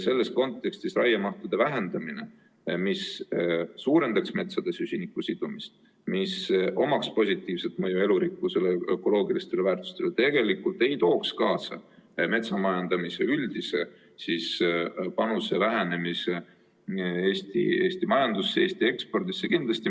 Selles kontekstis raiemahu vähendamine, mis suurendaks metsades süsiniku sidumist ja millel oleks positiivne mõju elurikkusele ja ökoloogilistele väärtustele, tegelikult ei tooks kaasa metsamajandamise üldise panuse vähenemist Eesti majanduses ja Eesti ekspordis.